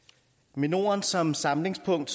med norden som samlingspunkt